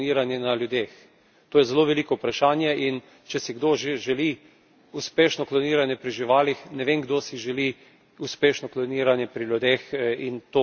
To je zelo veliko vprašanje in, če si kdo že želi uspešno kloniranje pri živalih, ne vem, kdo si želi uspešno kloniranje pri ljudeh in to kot neka javna metoda.